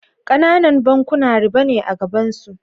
Kananan bankuna riba ne a gabansu.